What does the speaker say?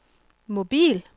mobil